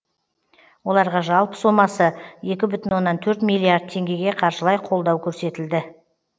оларға жалпы сомасы екі бүтін оннан төрт миллиард теңгеге қаржылай қолдау көрсетілді